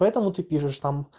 поэтому ты пишешь